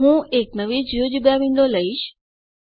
હું એક નવી જિયોજેબ્રા વિન્ડો લઈશ